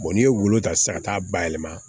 n'i ye wo ta sisan ka taa bayɛlɛma